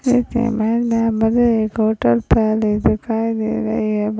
इस इमेज मे मुझे एक होटल पैलेस दिखाई दे रही है।